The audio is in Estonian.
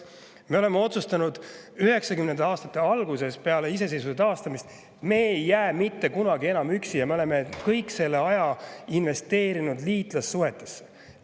Me otsustasime 1990. aastate alguses peale iseseisvuse taastamist, et me ei jää enam mitte kunagi üksi, ja me oleme kõik see aeg investeerinud liitlassuhetesse.